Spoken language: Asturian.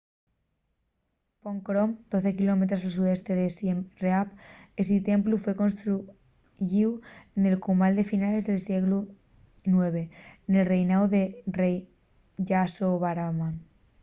phnom krom 12 km al sudoeste de siem reap esti templu foi construyíu nel cumal a finales del sieglu ix nel reináu del rei yasovarman